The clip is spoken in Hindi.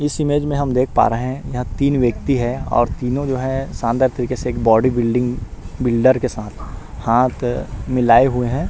इस इमेज में हम देख पा रहै है यहाँ तीन वयक्ति है और तीनो जो है शानदार तरिके से एक बॉडी बिल्डिंग बिल्डर के साथ है हाथ मिलाये हुए है।